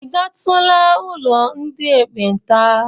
I gatụla ụlọ ndị ekpenta?